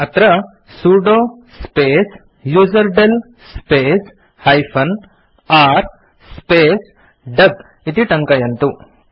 अत्र sudo space userdel space -r space duck इति टङ्कयन्तु